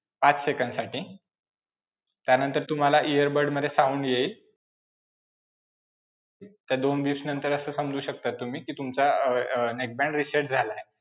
आठ सेकंदसाठी त्यानंतर तुम्हाला earbud मध्ये sound येईल. त्या दोन dish नंतर असं समजू शकता तुम्ही कि तुमचा अं अं neckband reset झालाय.